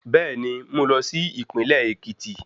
Bẹ́ẹ̀ni, mú lọ sí Ìpínlẹ̀ Èkìtì